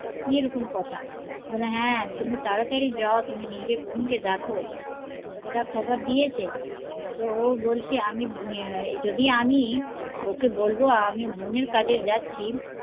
কি এরকম কথা, বলে হ্যা তুমি তারতারি যাও তুমি নিজের বোন কে দেখো, এটা খবর দিয়েছে ও বলছে যদি আমি বৌ কে বলবো আমি বোন এর কাছে যাচ্ছি